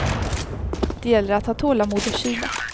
Det gäller att ha tålamod och kyla.